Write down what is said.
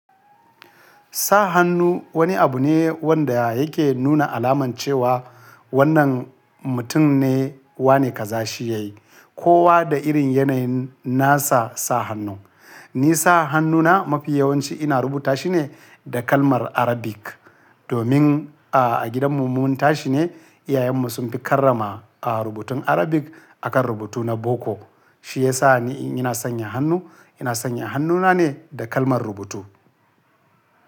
Sa hannu wani abu ne wanda yake nuna alaman cewa wannan mutum ne wane kaza shi yayi. Kowa da irin yanayin nasa sa hannu. Ni sa hannuna mafi yawanci ina rubuta shi ne da kalmar Arabic. Domin a gidanmu mun tashi ne iyayenmu sun fi karrama a rubutun Arabic akan rubutu na boko. Shi yasa ni in ina sanya hannu, ina sanya hannuna ne da kalmar rubutu.